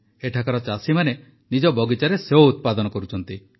ଏଠାକାର ଚାଷୀମାନେ ନିଜ ବଗିଚାରେ ସେଓ ଉତ୍ପାଦନ କରୁଛନ୍ତି